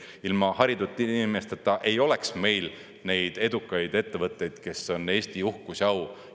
Ilma haritud inimesteta ei oleks meil neid edukaid ettevõtteid, kes on Eesti uhkus ja au.